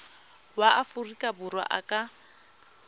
wa aforika borwa a ka